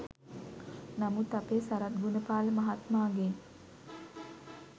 නමුත් අපේ සරත් ගුණපාල මහත්මාගෙන්